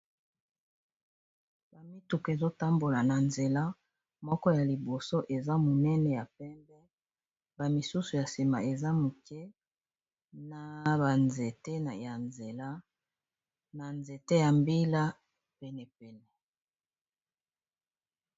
Ba mituku ezo tambola na nzela ,moko ya liboso eza camionette ya Langi ya pembe, na sima nango mituka misusu na Langi ya pondou, bongo na sima ba nzete.